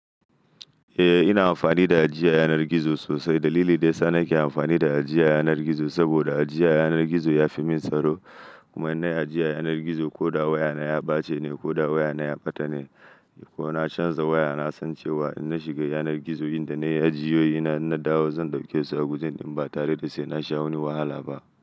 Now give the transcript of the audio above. Eh ina amfani da ajiya yanar gizo sosai. Dalili daya sana ki amfani da ajiya yanar gizo, saboda ajiya yanar gizo ya fi min tsaro. Kuma in na ajiye yanar gizo ko da wayana ya ɓace ne ko da wayana ya ɓata ne ko na canza waya, na san cewa in na shiga yanar gizo wanda na yi ajiyoyi na, in na dawo zan ɗauke su a gujen ɗin ba tare da sai na sha wani wahala ba.